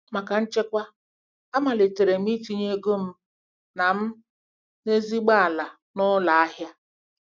Maka nchekwa, amalitere m itinye ego m na m na ezigbo ala na ụlọ ahịa.